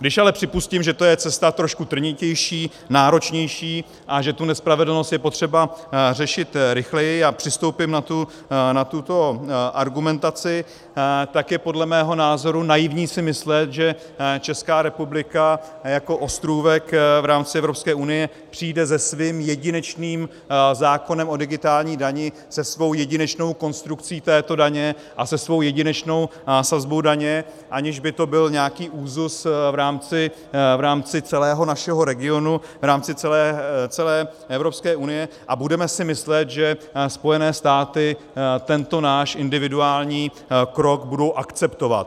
Když ale připustím, že to je cesta trošku trnitější, náročnější a že tu nespravedlnost je potřeba řešit rychleji, a přistoupím na tuto argumentaci, tak je podle mého názoru naivní si myslet, že Česká republika jako ostrůvek v rámci Evropské unie přijde se svým jedinečným zákonem o digitální dani, se svou jedinečnou konstrukcí této daně a se svou jedinečnou sazbou daně, aniž by to byl nějaký úzus v rámci celého našeho regionu, v rámci celé Evropské unie, a budeme si myslet, že Spojené státy tento náš individuální krok budou akceptovat.